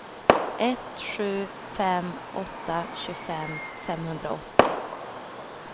ett sju fem åtta tjugofem femhundraåttio